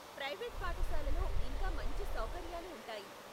Private పాఠశాలలో ఇంకా మంచి సౌకర్యాలు ఉంటాయి.